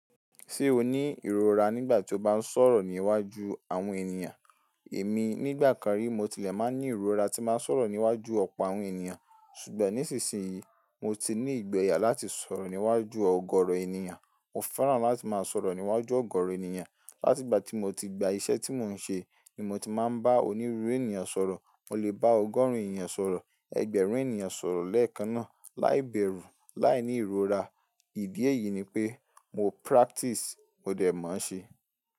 Ṣé o ní ìrora nígbà tí o bá ń sọ̀rọ̀ ní iwájú àwọn ènìyàn? Èmi nígbà kan rí mo tilẹ̀ máa ń ní ìrora tí màá sọ̀rọ̀ ní iwájú ọ̀pọ̀ àwọn ènìyàn. Ṣùgbọ́n nísinsìnyí mo ti ní ìgboyà láti sọ̀rọ̀ ní iwájú ọgọrọ ènìyàn. Mo fẹ́ràn láti máa sọ̀rọ̀ ní iwájú ọgọrọ ènìyàn. Láti ìgbà tí mo ti gba iṣẹ́ tí mò ń ṣe ni mo ti máa ń bá onírúurú ènìyàn sọ̀rọ̀. Mo lè bá ọgọ́rùn ènìyàn sọ̀rọ̀, ẹgbẹ̀rún ènìyàn sọ̀rọ̀ lẹ́ẹ̀kan náà láìbẹ̀rù, láìní ìrora. Ìdí èyí ni pé mo practice, mo dẹ̀ mọ̀ ọ́n ṣe.